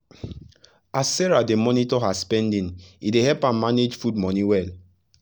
as sarah dey monitor her spending e help am manage food money well